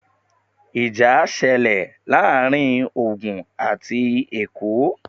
Ìjà ṣẹlẹ̀ láàárín Ògùn àti Èkó